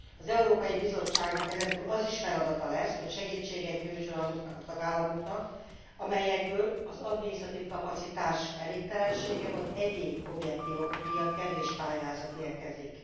Az Európai Bizottságnak ezen túl az is feladata lesz, hogy segítséget nyújtson azoknak a tagállamoknak, amelyekből az adminisztratív kapacitás elégtelensége vagy egyéb objektív okok miatt kevés pályázat érkezik.